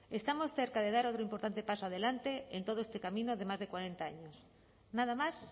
estamos cerca de dar otro importante paso adelante en todo este camino de más de cuarenta años nada más